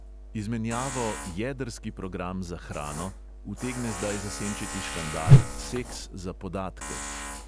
Izmenjavo "jedrski program za hrano" utegne zdaj zasenčiti škandal "seks za podatke".